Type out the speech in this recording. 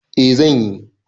Eh zan yi.